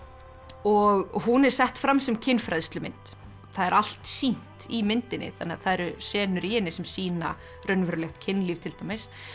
og hún er sett fram sem kynfræðslumynd það er allt sýnt í myndinni þannig að það eru senur í henni sem sýna raunverulegt kynlíf til dæmis